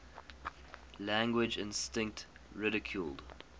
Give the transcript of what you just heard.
language instinct ridiculed